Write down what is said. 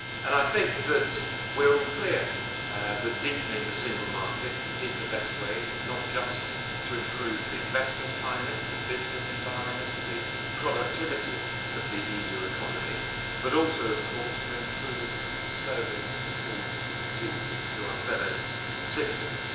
I think that we are all clear that deepening the single market is the best way not just to improve the investment climate, the business environment and the productivity of the EU economy, but also to improve service to consumers and to our fellow citizens.